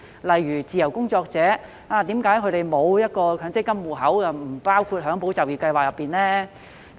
例如，為何自由工作者因沒有強制性公積金戶口便不獲包括在"保就業"計劃內呢？